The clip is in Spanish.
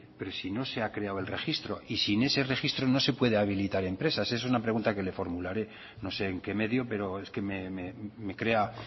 pero si no se ha creado el registro y sin ese registro no se puede habilitar empresas es una pregunta que le formularé no sé en qué medio pero es que me crea